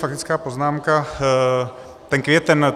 Faktická poznámka - ten květen.